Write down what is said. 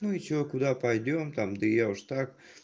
ну и что куда пойдём там да я уж так